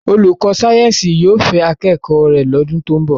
Olùkọ́ sáyẹ́ǹsì yóò fẹ́ akẹ́kọ̀ọ́ rẹ̀ lọ́dún tó ń bọ̀.